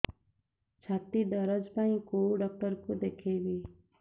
ଛାତି ଦରଜ ପାଇଁ କୋଉ ଡକ୍ଟର କୁ ଦେଖେଇବି